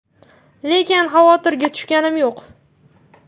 Lekin xavotirga tushganim yo‘q.